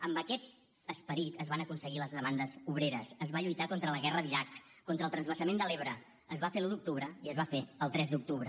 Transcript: amb aquest esperit es van aconseguir les demandes obreres es va lluitar contra la guerra d’iraq contra el transvasament de l’ebre es va fer l’un d’octubre i es va fer el tres d’octubre